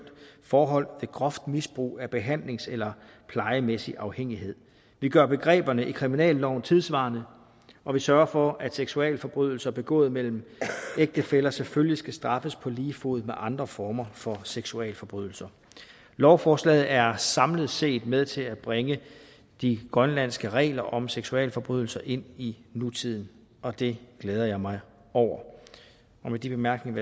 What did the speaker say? forhold ved groft misbrug af behandlings eller plejemæssig afhængighed vi gør begreberne i kriminalloven tidssvarende og vi sørger for at seksualforbrydelser begået mellem ægtefæller selvfølgelig skal straffes på lige fod med andre former for seksualforbrydelser lovforslaget er samlet set med til at bringe de grønlandske regler om seksualforbrydelser ind i nutiden og det glæder jeg mig over og med de bemærkninger